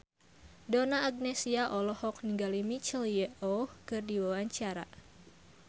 Donna Agnesia olohok ningali Michelle Yeoh keur diwawancara